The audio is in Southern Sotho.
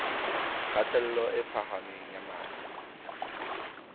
kgatello e phahameng ya madi